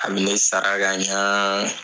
A bi ne sara ka ɲa